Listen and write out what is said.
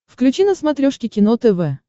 включи на смотрешке кино тв